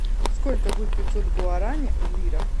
сколько будет пятьсот гуарани в лирах